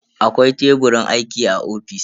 Akwai Teburin aiki a ofis.